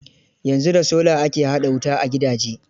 Yanzu da sola ake haɗa wuta a gidaje.